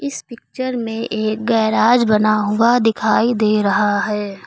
इस पिक्चर में एक गैराज बना हुआ दिखाई दे रहा है।